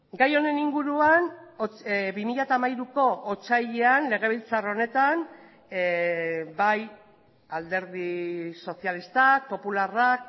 gai honen inguruan bi mila hamairuko otsailean legebiltzar honetan bai alderdi sozialistak popularrak